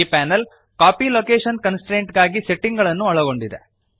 ಈ panel copy location constraint ಗಾಗಿ setting ಗಳನ್ನು ಒಳಗೊಂಡಿದೆ